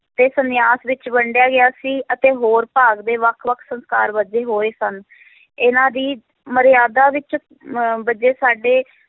ਤੇ ਸੰਨਿਆਸ ਵਿੱਚ ਵੰਡਿਆ ਗਿਆ ਸੀ ਅਤੇ ਹੋਰ ਭਾਗ ਦੇ ਵੱਖ-ਵੱਖ ਸੰਸਕਾਰ ਬੱਝੇ ਹੋਏ ਸਨ ਇਹਨਾਂ ਦੀ ਮਰਿਆਦਾ ਵਿੱਚ ਮ~ ਬੱਝੇ ਸਾਡੇ